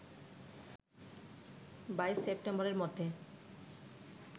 ২২ সেপ্টেম্বরের মধ্যে